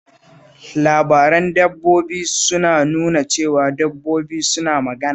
Labaran dabbobi suna nuna cewa dabbobi suna magana